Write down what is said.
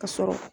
Ka sɔrɔ